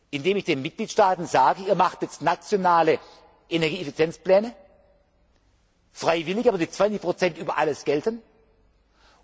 Indem ich den Mitgliedstaaten sage, macht jetzt nationale Energieeffizienzpläne, freiwillig, aber die 20 gelten für